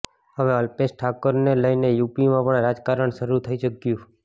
હવે અલ્પેશ ઠાકોરને લઈને યૂપીમાં પણ રાજકારણ શરૂ થઈ ચૂક્યું